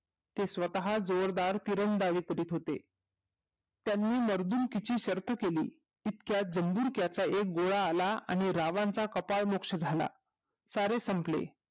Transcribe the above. ते स्वतः जोरदार तिरंगबाजी करीत होते त्यांनी मर्दूगीची शर्यत केली इतक्यात जबुर्ग्याचा गोळा आला आणि रावणाचा कपाळ मोक्ष झाला सारे संपले